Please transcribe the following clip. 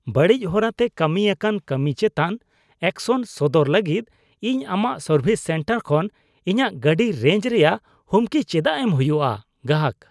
ᱵᱟᱹᱲᱤᱡ ᱦᱚᱨᱟ ᱛᱮ ᱠᱟᱹᱢᱤ ᱟᱠᱟᱱ ᱠᱟᱹᱢᱤ ᱪᱮᱛᱟᱱ ᱮᱠᱥᱮᱱ ᱥᱚᱫᱚᱨ ᱞᱟᱹᱜᱤᱫ ᱤᱧ ᱟᱢᱟᱜ ᱥᱟᱨᱵᱷᱤᱥ ᱥᱮᱱᱴᱟᱨ ᱠᱷᱚᱱ ᱤᱧᱟᱹᱜ ᱜᱟᱹᱰᱤ ᱨᱮᱡ ᱨᱮᱭᱟᱜ ᱦᱩᱢᱠᱤ ᱪᱮᱫᱟᱜ ᱮᱢ ᱦᱩᱭᱩᱜᱼᱟ ? (ᱜᱟᱦᱟᱠ)